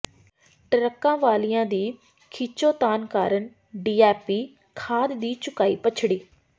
ਟਰੱਕਾਂ ਵਾਲਿਆਂ ਦੀ ਖਿੱਚੋਤਾਣ ਕਾਰਨ ਡੀਏਪੀ ਖਾਦ ਦੀ ਚੁਕਾਈ ਪਛੜੀ